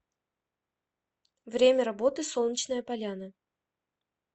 время работы солнечная поляна